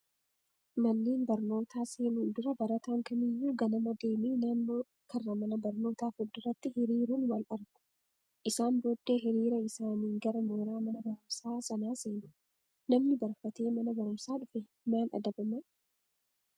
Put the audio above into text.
Manneen barnootaa seenuun dura barataan kamiyyuu ganama deemee naannoo karra mana barnootaa fuulduratti hiriiruun wal gahu. Isaan booddee hiriira isaaniin gara mooraa mana barumsaa sanaa seenu. Namni barfatee mana barumsaa dhufe maal adabamaa?